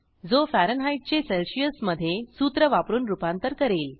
जो फॅरनहीटचे सेल्सिअस मधे सूत्र वापरून रूपांतर करेल